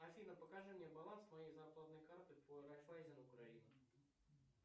афина покажи мне баланс моей зарплатной карты по райфайзен украина